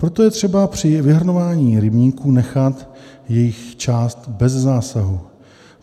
Proto je třeba při vyhrnování rybníků nechat jejich část bez zásahu.